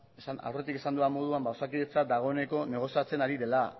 aurretik esan dudan moduan ba osakidetza dagoeneko negoziatzen ari dela